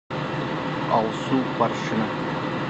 алсу парши